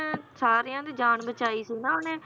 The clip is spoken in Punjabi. ਸਾਰਿਆਂ ਦੀ ਜਾਨ ਬਚਾਈ ਸੀ ਨ ਉਹਨੇਂ